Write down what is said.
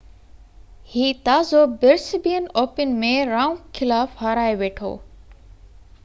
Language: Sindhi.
هي تازو برسبين اوپن ۾ رائونڪ خلاف هارائي ويٺو